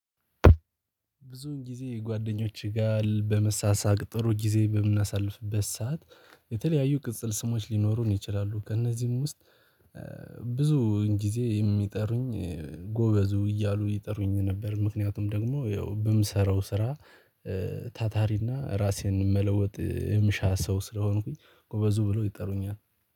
ብዙውን ጊዜ የጓደኞችህ ጋር በመሳሳቅ ጥሩ ጊዜ በምናሳልፍበት ሰዓት የተለያዩ ቅጽል ስሞች ሊኖሩን ይችላሉ። ከእነዚህም ውስጥ ብዙ ጊዜ የሚጠሩኝ ጎበዙ እያሉ ይጠሩኝ ነበር። ምክንያቱም ደግሞ ያው በምሰራው ስራ። ታታሪና ራሴን መለወጥ እምሻ ሰው ስለሆንኩኝ ጎበዙ ብሎ ይጠሩኛል